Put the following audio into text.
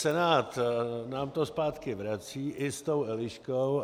Senát nám to zpátky vrací i s tou Eliškou.